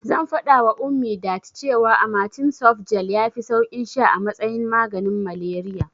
Zan faɗawa Ummi that cewa amatem softgel yafi saukin sha a matsayin maganin malariya.